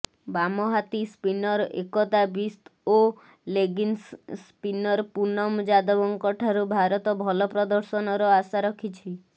ବାମହାତି spinner Ekta Bisht ଓ leg spinner Poonam ଯାଦବଙ୍କଠାରୁ ଭାରତ ଭଲ ପ୍ରଦର୍ଶନର ଆଶାରଖିଛି